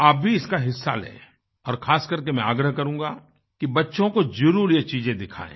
आप भी इसमें हिस्सा लें और खासकर मैं आग्रह करूंगा कि बच्चों को जरूर ये चीज़ें दिखाएँ